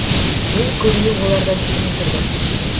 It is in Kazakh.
мен көбіне олардан төмен тұрдым